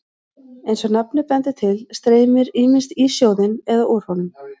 Eins og nafnið bendir til streymir ýmist í sjóðinn eða úr honum.